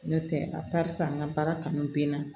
N'o tɛ a barisa an ka baara kanu bɛ n na